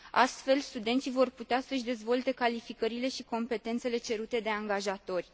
Astfel, studenții vor putea să își dezvolte calificările și competențele cerute de angajatori.